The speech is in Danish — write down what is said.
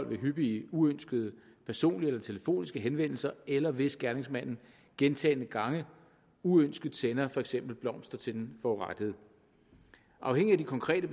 ved hyppige uønskede personlige eller telefoniske henvendelser eller hvis gerningsmanden gentagne gange uønsket sender for eksempel blomster til den forurettede afhængigt af de konkrete